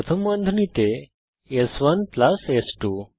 প্রথম বন্ধনীতে স্1 প্লাস স্2